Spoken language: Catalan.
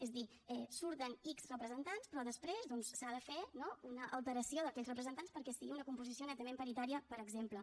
és a dir surten ics representants però després doncs s’ha de fer no una alteració d’aquells representants perquè sigui una composició netament paritària per exemple